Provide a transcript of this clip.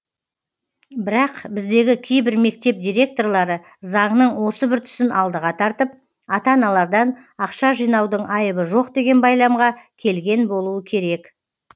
бірақ біздегі кейбір мектеп директорлары заңның осы бір тұсын алдыға тартып ата аналардан ақша жинаудың айыбы жоқ деген байламға келген болуы керек